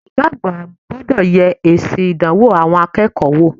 Ògá àgbà gbodò ye èsì ìdánwò àwon akéèkó wò